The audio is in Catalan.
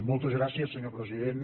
moltes gràcies senyor president